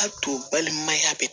A to balimaya bɛ